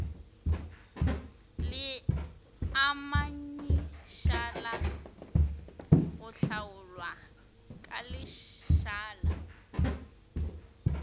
leamanyišala go hlaolwa ka lešala